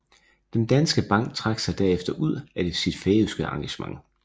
Den Danske Bank trak sig der efter ud af sit færøske engagement